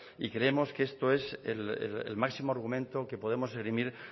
y creemos que esto es el máximo argumento que podemos esgrimir